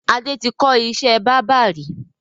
Adé tí kọ́ ìṣẹ́ báábà ri